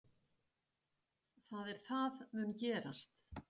Kjartan Hreinn Njálsson: Það er það mun gerast?